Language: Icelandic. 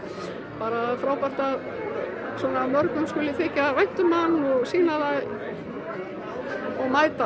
bara frábært að svona mörgum skuli þykja vænt um mann og sýna það og mæta